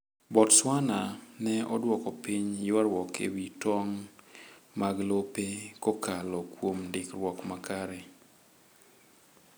Botswana ne oduoko piny ywarruok ewi tong' mag lope kokalo kuom ndikruok makare.